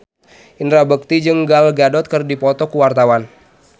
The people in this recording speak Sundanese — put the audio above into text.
Indra Bekti jeung Gal Gadot keur dipoto ku wartawan